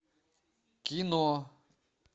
кино